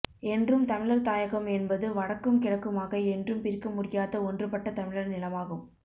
என்றும் தமிழர் தாயகம் என்பது வடக்கும் கிழக்குமாக என்றும் பிரிக்கமுடியாத ஒன்றுபட்ட தமிழர் நிலமாகும்